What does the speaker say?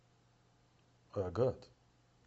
агат